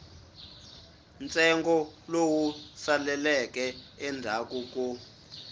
ntsengo lowu saleleke endzhaku ko